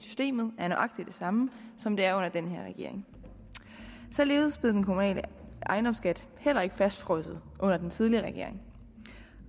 systemet var nøjagtig det samme som det er under den her regering således blev den kommunale ejendomsskat heller ikke fastfrosset under den tidligere regering